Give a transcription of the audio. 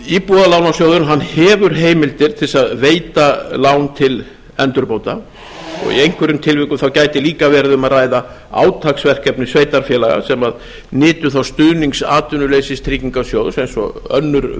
íbúðalánasjóður hefur heimildir til að veita lán til endurbóta og í einhverjum tilvikum gæti líka verið um að ræða átaksverkefni sveitarfélaga sem nytu þá stuðnings atvinnuleysistryggingasjóðs eins og önnur